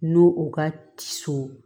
N'o u ka ci